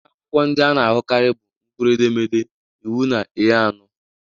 Nha akwụkwọ ndị a na-ahụkarị bụ mkpụrụedemede, iwu na A ano.